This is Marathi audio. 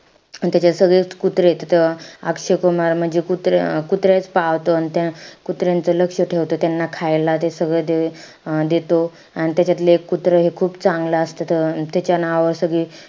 अन त्याच्यात सगळेचं कुत्रेत तिथं. अक्षय कुमार म्हणजे कुत्रे~ कुत्रेच अं पाळतो. अन त्या कुत्र्यांचं लक्ष ठेवतो. त्यांना खायला ते सगळं अं देतो. अन त्याच्यातलं एक कुत्रं हे खूप चांगलं असतं. त त्याच्या नावावर सगळी,